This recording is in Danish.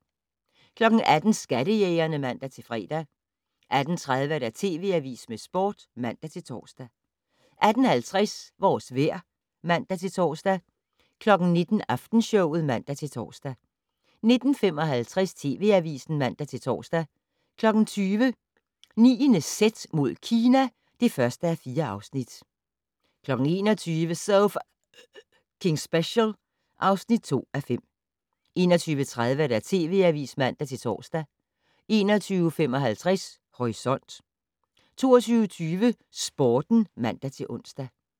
18:00: Skattejægerne (man-fre) 18:30: TV Avisen med Sporten (man-tor) 18:50: Vores vejr (man-tor) 19:00: Aftenshowet (man-tor) 19:55: TV Avisen (man-tor) 20:00: 9.z mod Kina (1:4) 21:00: So F***ing Special (2:5) 21:30: TV Avisen (man-tor) 21:55: Horisont 22:20: Sporten (man-ons)